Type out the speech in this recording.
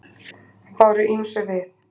Og báru ýmsu við.